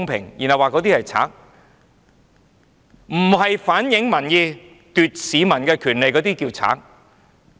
還要說我們是賊，不反映民意、奪取市民權利的才叫賊。